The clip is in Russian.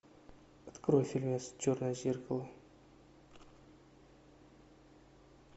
открой фильмец черное зеркало